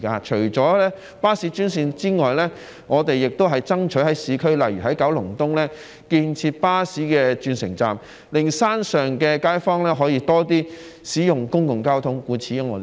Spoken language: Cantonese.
除了巴士專線之外，我們也爭取在市區，例如在九龍東建設巴士轉乘站，令山上街坊可以多些使用公共交通。